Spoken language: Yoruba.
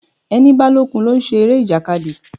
Ẹni bá lókun ló ń ṣe eré ìjàkadì.